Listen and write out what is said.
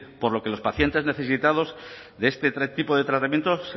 por lo que los pacientes necesitados de este tipo de tratamiento